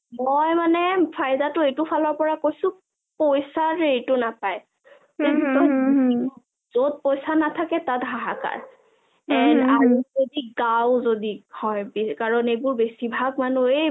অ অ মই মানে ফাইদা টো এইটো ফালৰপৰা কৈছো পইচা যে এইটো নাপাই যত পইচা নাথাকে তাত হাহাকাৰ and আৰু যদি গাঁও যদি হয় কাৰণ বেছিভাগ মানুহে